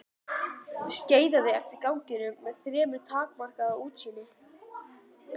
Skeiðaði eftir ganginum með fremur takmarkað útsýni.